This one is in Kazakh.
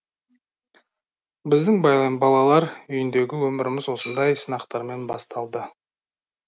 біздің байла балалар үйіндегі өміріміз осындай сынақтармен басталды